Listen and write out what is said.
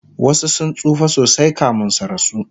wasu sun tsufa sosai kamin su rasu